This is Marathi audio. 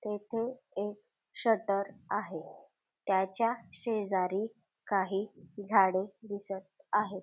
तेथे एक शटर आहे त्याच्या शेजारी काही झाडे दिसत आहेत.